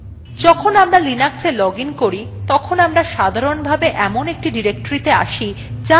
যখন আমরা linuxa login করি তখন আমরা সাধারণভাবে when একটি ডিরেক্টরীতে আসি যার named আমাদের username